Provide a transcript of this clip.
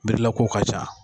Mirilakow ka ca